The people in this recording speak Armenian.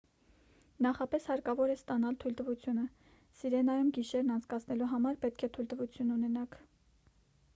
նախապես հարկավոր է ստանալ թույլտվությունը սիրենայում գիշերն անցկացնելու համար պետք է թույլտվություն ունենաք